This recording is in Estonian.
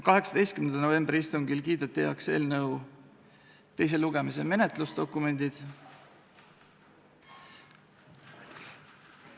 18. novembri istungil kiideti heaks eelnõu teise lugemise menetlusdokumendid.